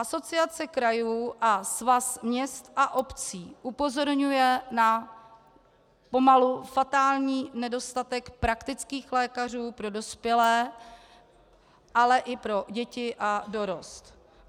Asociace krajů a Svaz měst a obcí upozorňuje na pomalu fatální nedostatek praktických lékařů pro dospělé, ale i pro děti a dorost.